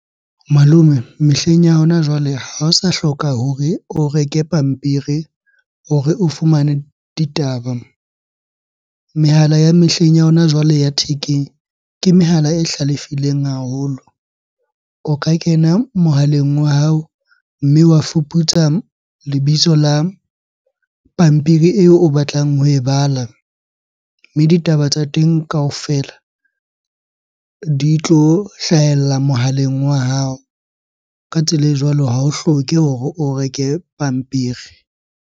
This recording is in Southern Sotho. Malome, mehleng ya hona jwale ha o sa hloka hore o reke pampiri hore o fumane ditaba. Mehala ya mehleng ya hona jwale ya thekeng, ke mehala e hlalefileng haholo. O ka kena mohaleng wa hao mme wa fuputsa lebitso la pampiri eo o batlang ho e bala. Mme ditaba tsa ya teng kaofela di tlo hlahella mohaleng wa hao. Ka tsela e jwalo ha o hloke hore o reke pampiri.